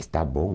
Está bom.